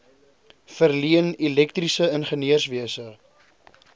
verleen elektriese ingenieurswese